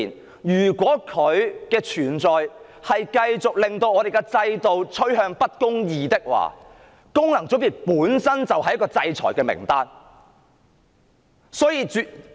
所以，如果功能界別的存在令香港的制度趨向不公義，功能界別本身便應被列入制裁名單。